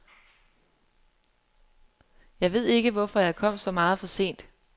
Jeg ved ikke, hvorfor jeg kom så meget for sent.